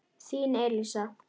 Þín Elísa.